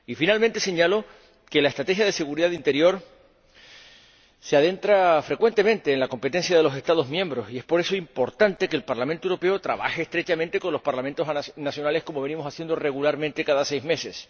Y, por último, señalo que la Estrategia de Seguridad Interior se adentra frecuentemente en la competencia de los Estados miembros y es, por eso, importante que el Parlamento Europeo trabaje estrechamente con los Parlamentos nacionales, como venimos haciendo regularmente cada seis meses.